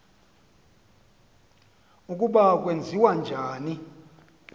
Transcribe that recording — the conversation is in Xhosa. ukuba kwenziwa njani